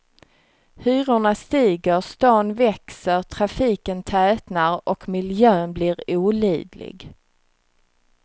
Hyrorna stiger, stan växer, trafiken tätnar och miljön blir olidlig.